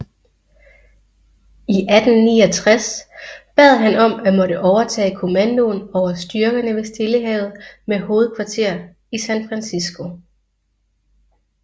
I 1869 bad han om at måtte overtage kommandoen over styrkerne ved Stillehavet med hovedkvarter i San Francisco